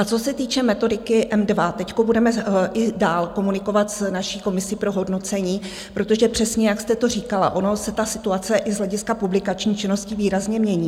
A co se týče metodiky M2, teď budeme i dál komunikovat s naší komisi pro hodnocení, protože přesně jak jste to říkala, ona se situace i z hlediska publikační činnosti výrazně mění.